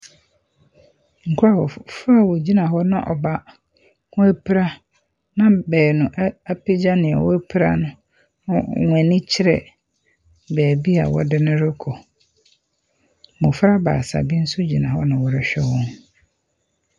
Nkurɔf…fo a wɔgyina hɔ na ɔbaako apira na beenu a apagya nea wapira no na wɔn ani kyerɛ beebi a wɔde no rekɔ. Mmɔfra baasa bi nso gyina hɔ na wɔrehwɛ wɔn.